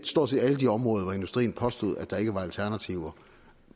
stort set alle de områder hvor industrien påstod at der ikke var alternativer